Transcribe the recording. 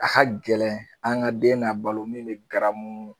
A ka gɛlɛn an ka den n'a balo min me garamu